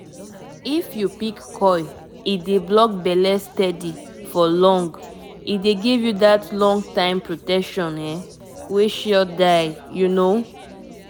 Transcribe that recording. once dem put di coil e go protect for long for family planning wey no go stress you at all ah